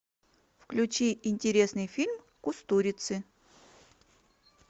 включи интересный фильм кустурицы